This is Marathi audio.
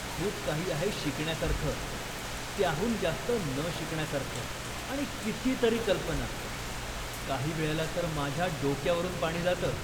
खूप काही आहे शिकण्यासारखं, त्याहून जास्त न शिकण्यासारखं, आणि कितीतरी कल्पना, काहीवेळेला तर माझ्या डोक्यावरून पाणी जातं.